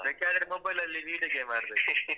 ಬರ್ಬೇಕಾದ್ರೆ mobile ಲಲ್ಲಿ video game ಆಡ್ಬೇಕು.